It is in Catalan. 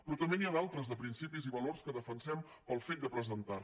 però també n’hi ha d’altres de principis i valors que defensem pel fet de presentar la